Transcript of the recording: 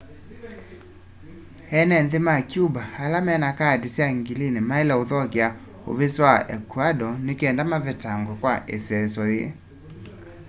eene nthi ma cuba ala mena kaati sya ngilini maile uthokea uvisi wa ecuador nikenda mavetangwe kwa iseeso yii